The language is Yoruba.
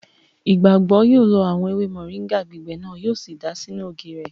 Ìgbàgbọ́ yóò lọ àwọn ewé mọ̀ríńgà gbígbẹ náà, yíò sì dàá sínú ògì rẹ̀